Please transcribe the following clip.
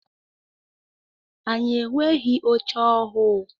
Anyị enweghị oche ọhụụ.